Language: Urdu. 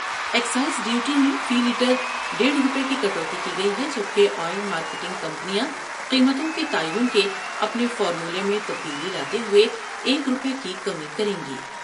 ا یکسائز ڈیوٹی میں فی لیٹر دیڑھ روپے کی کٹوتی کی گئی ہے جب کہ آئل مارکیٹنگ کمپنیاں قیمتوں کے تعین کے اپنے فارمولے میں تبدیلی لاتے ہوۓ ایک روپے کی کمی کر یں گی ۔